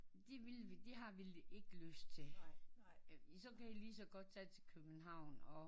De vil vi har de har vel ikke lyst til så kan i også lige så godt tage til København